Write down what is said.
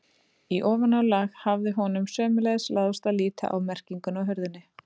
Í ofanálag hafði honum sömuleiðis láðst að líta á merkinguna á hurðinni.